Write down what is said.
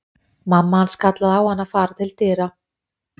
Mamma hans kallaði á hann að fara til dyra.